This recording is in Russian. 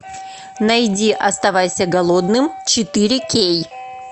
найди оставайся голодным четыре кей